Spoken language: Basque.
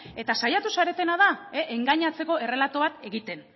eta saiatu zaretena da engainatzeko errelato bat egiten